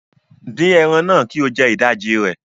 Fry the meat and eat half of it